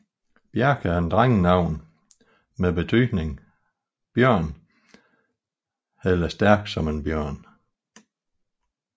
Bjarke er et drengenavn med betydningen bjørn eller stærk som en bjørn